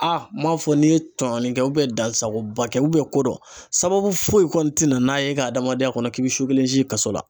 m'a fɔ n'i ye tɔɲɔgɔnin kɛ dansagoba kɛ ko dɔ, sababu foyi kɔni tɛna e ka adamadenya kɔnɔ, k'i bɛ su kelen si kaso la.